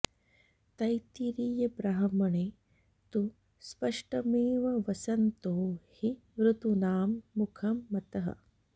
तैत्तिरीयब्राह्मणे तु स्पष्टमेव वसन्तो हि ऋतूनां मुखं मतः